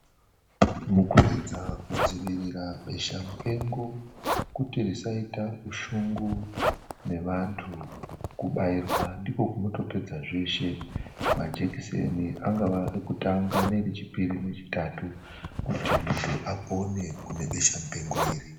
Mukuedza kudziirira besha mupengo kuti risaita ushungu neantu, kubairwa ndiko kunotopedza zveshe. Majekiseni angava ekutanga, echipiri kana echitatu kuti muntu apone kune besha mupengo iri.